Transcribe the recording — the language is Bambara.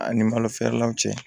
A ni malo feerelaw cɛ